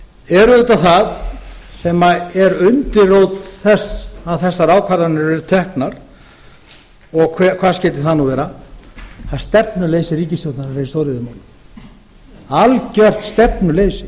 er auðvitað það sem er undirrót þess að þessar ákvarðanir eru teknar hvað skyldi það nú vera það er stefnuleysi ríkisstjórnarinnar í stóriðjumálum algjört stefnuleysi